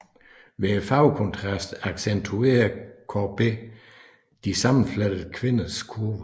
Ved farvekontrasten accentuerer Courbet de sammenflettede kvinders kurver